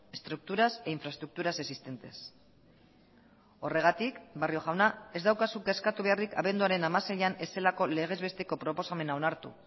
estructuras e infraestructuras existentes horregatik barrio jauna ez daukazu kezkatu beharrik abenduaren hamaseian ez zelako legez besteko proposamena onartu